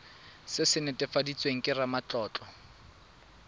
se se netefaditsweng ke ramatlotlo